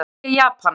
Eplatré í Japan.